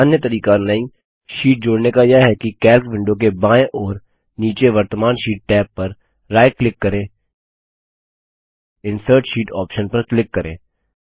एक अन्य तरीका नई शीट जोड़ने का यह है कि कैल्क विंडो के बाएं ओर नीचे वर्त्तमान शीट टैब पर राइट क्लिक करें इंसर्ट शीट ऑप्शन पर क्लिक करें